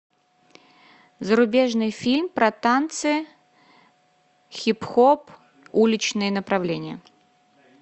зарубежный фильм про танцы хип хоп уличное направление